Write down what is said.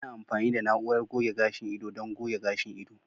Ana amfani da na'urar goge gashin ido don goge gashin ido.